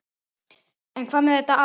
En hvað með þetta ár?